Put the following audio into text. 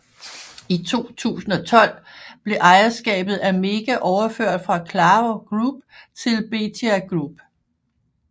I 2012 blev ejerskabet af Mega overført fra Claro Group til Bethia Group